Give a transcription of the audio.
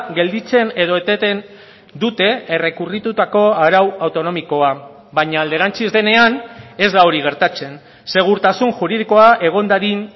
gelditzen edo eteten dute errekurritutako arau autonomikoa baina alderantziz denean ez da hori gertatzen segurtasun juridikoa egon dadin